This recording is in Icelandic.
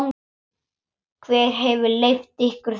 Hver hefur leyft ykkur þetta?